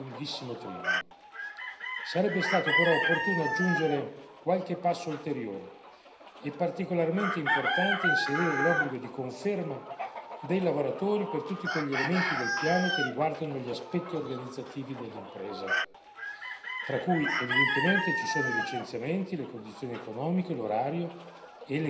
Sarebbe stato però opportuno aggiungere qualche passo ulteriore e particolarmente importante è inserire l'obbligo di conferma dei lavoratori per tutti quegli elementi del piano che riguardano gli aspetti organizzativi dell'impresa tra cui, evidentemente, ci sono i licenziamenti, le condizioni economiche, l'orario e le condizioni materiali di lavoro.